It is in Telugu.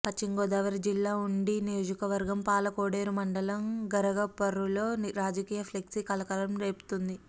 పశ్చిమ గోదావరి జిల్లా ఉండి నియోజకవర్గం పాలకోడేరు మండలం గరగపర్రులో రాజకీయ ఫ్లెక్సీ కలకలం రేపుతోంది